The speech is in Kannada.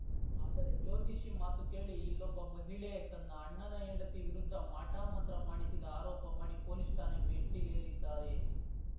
ಆದರೆ ಜ್ಯೋತಿಷಿ ಮಾತು ಕೇಳಿ ಇಲ್ಲೊಬ್ಬ ಮಹಿಳೆ ತನ್ನ ಅಣ್ಣನ ಹೆಂಡತಿ ವಿರುದ್ಧ ಮಾಟಮಂತ್ರ ಮಾಡಿಸಿದ ಆರೋಪ ಮಾಡಿ ಪೊಲೀಸ್‌ ಠಾಣೆ ಮೆಟ್ಟಿಲೇರಿದ್ದಾರೆ